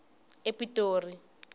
epitori